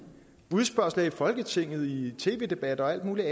spørgsmål i folketinget i tv debatter og alle mulige